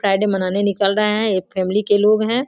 Friday मनाने निकल रहें हैं ये फॅमिली के लोग हैं।